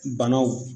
Banaw